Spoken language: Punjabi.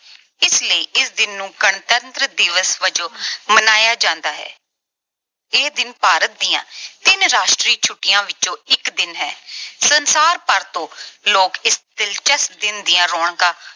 ਇਸ ਲਈ ਇਸ ਦਿਨ ਨੂੰ ਗਣਤੰਤਰ ਦਿਵਸ ਵਜੋਂ ਮਨਾਇਆ ਜਾਂਦਾ ਹੈ। ਇਹ ਦਿਨ ਭਾਰਤ ਦੀਆਂ ਤਿੰਨ ਰਾਸ਼ਟਰੀ ਛੁੱਟੀਆਂ ਵਿੱਚੋਂ ਇੱਕ ਦਿਨ ਹੈ। ਸੰਸਾਰ ਭਰ ਤੋਂ ਲੋਕ ਇਸ ਦਿਲਚਸਪ ਦਿਨ ਦੀਆਂ ਰੌਣਕਾਂ